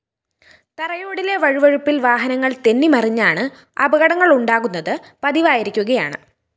തറയോടിലെ വഴുവഴുപ്പില്‍ വാഹനങ്ങള്‍ തെന്നിമറിഞ്ഞാണ് അപകടങ്ങളുണ്ടാകുന്നത് പതിവായിരിക്കുകയാണ്